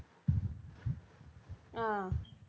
ஆஹ்